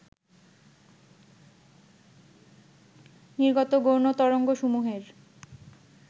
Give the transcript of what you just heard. নির্গত গৌণ তরঙ্গসমূহের